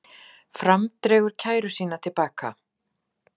Svo hengslaðist hann út.